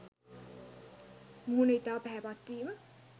මුහුණ ඉතා පැහැපත් වීම